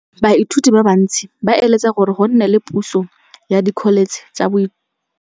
Baithuti ba bantsi ba eletsa gore go nne le pusô ya Dkholetšhe tsa Thuto.